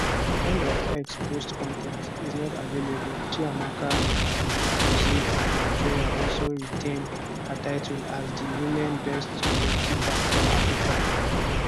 end of x post con ten t is not available chiamaka nnadozie of nigeria also retain her title as di women best goalkeeper for africa